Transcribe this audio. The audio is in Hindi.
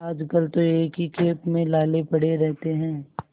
आजकल तो एक ही खेप में लाले पड़े रहते हैं